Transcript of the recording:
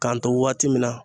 K'an to waati min na.